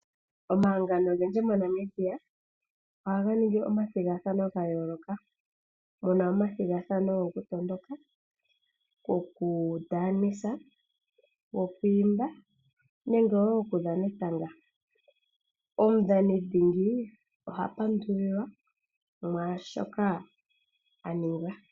Omahangano ogendji moNamibia ohaga ningi omathigathano gayooloka, muna omathigathano gokutondoka, gokundaanisa, gokwiimba nenge wo okudhana etanga. Omudhanidhingi ohapandulilwa mwaashoka a ninga.